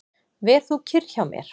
Ver þú kyrr hjá mér.